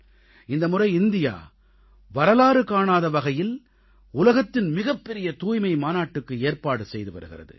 இந்த முறை இந்தியா வரலாறு காணாத வகையில் உலகத்தின் மிகப்பெரிய தூய்மை மாநாட்டுக்கு ஏற்பாடு செய்து வருகிறது